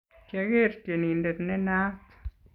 kiageer tyenindet nenaat